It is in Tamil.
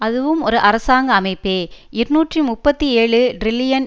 அதுவும் ஒரு அரசாங்க அமைப்பே இருநூற்றி முப்பத்தி ஏழு டிரில்லியன்